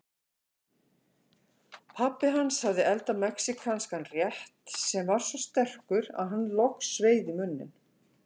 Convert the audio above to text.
Pabbi hans hafði eldað mexíkanskan rétt sem var svo sterkur að hann logsveið í munninn.